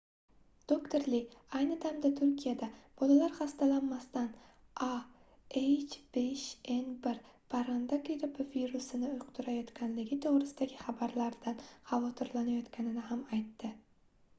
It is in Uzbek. doktor li ayni damda turkiyada bolalar xastalanmasdan a h5n1 parranda grippi virusini yuqtirayotganligi to'g'risidagi xabarlardan xavotrilanayotganini ham aytdi